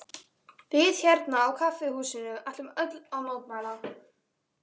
Við hérna á kaffihúsinu ætlum öll að mótmæla.